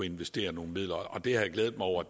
investere nogle midler det har jeg glædet mig over